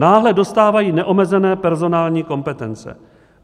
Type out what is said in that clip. Náhle dostávají neomezené personální kompetence.